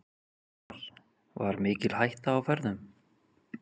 Hilmar: Var mikil hætta á ferðum?